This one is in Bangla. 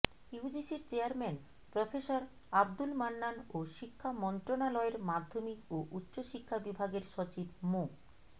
ইউজিসির চেয়ারম্যান প্রফেসর আব্দুল মান্নান ও শিক্ষা মন্ত্রণালয়ের মাধ্যমিক ও উচ্চ শিক্ষা বিভাগের সচিব মো